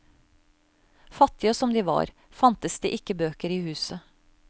Fattige som de var, fantes det ikke bøker i huset.